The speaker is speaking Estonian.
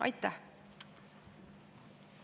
Aitäh!